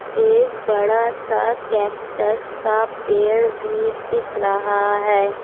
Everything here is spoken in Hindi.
एक बड़ा सा कैक्टस का पेड़ भी दीख रहा है।